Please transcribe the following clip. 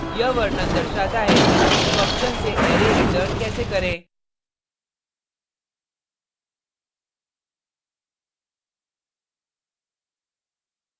यह वर्णन दर्शाता है कि फंक्शन से अरै रिटर्न कैसे करें